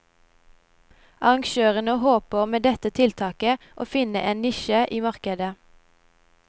Arrangørene håper med dette tiltaket å finne en nisje i markedet.